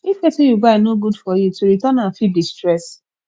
if wetin yu buy no good for yu to return am fit be stress